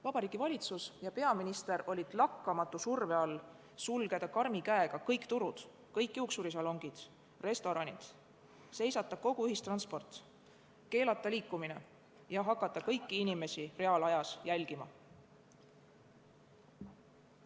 Vabariigi Valitsus ja peaminister olid lakkamatu surve all sulgeda karmi käega kõik turud, juuksurisalongid ja restoranid, seisata kogu ühistransport, keelata liikumine ja hakata kõiki inimesi reaalajas jälgima.